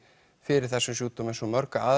fyrir þessum sjúkdómi eins og